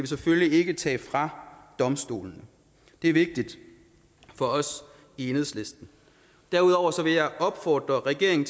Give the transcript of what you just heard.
selvfølgelig ikke tage fra domstolene det er vigtigt for os i enhedslisten derudover vil jeg opfordre regeringen